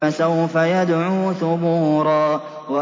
فَسَوْفَ يَدْعُو ثُبُورًا